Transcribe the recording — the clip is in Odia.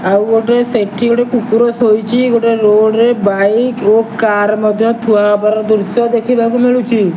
ଆଉ ଗୋଟେ ସେଠି ଗୋଟେ କୁକୁର ଶୋଇଛି ଗୋଟେ ରୋଡ଼ ରେ ବାଇକ ଓ କାର ମଧ୍ଯ ଥୁଆ ହବାର ଦୃଶ୍ଯ ଦେଖିବାକୁ ମିଳୁଚି।